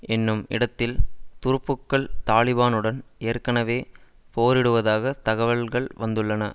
என்னும் இடத்தில் துருப்புக்கள் தலிபானுடன் ஏற்கனவே போரிடுவதாக தகவல்கள் வந்துள்ளன